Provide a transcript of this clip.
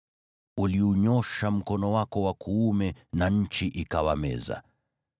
Uliunyoosha mkono wako wa kuume na nchi ikawameza.